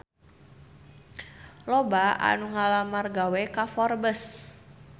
Loba anu ngalamar gawe ka Forbes